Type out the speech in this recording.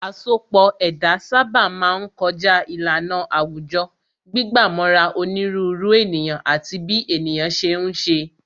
Asọpọ̀ ẹ̀dá sábà máa ń kọjá ìlànà àwùjọ, gbígbà mọ́ra onírúurú ènìyàn àti bí ènìyàn ṣe ń ṣe